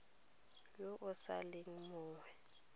yo o sa leng monnye